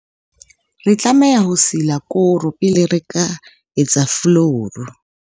re tlameha ho sila koro pele re ka etsa folouru